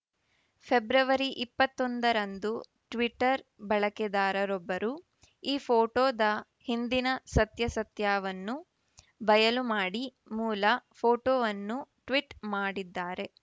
February ಇಪ್ಪತ್ತ್ ಒಂದರಂದು Twitter ಬಳಕೆದಾರರೊಬ್ಬರು ಈ ಫೋಟೋದ ಹಿಂದಿನ ಸತ್ಯಾಸತ್ಯವನ್ನು ಬಯಲು ಮಾಡಿ ಮೂಲ ಫೋಟೋವನ್ನು ಟ್ವಿಟ್‌ ಮಾಡಿದ್ದಾರೆ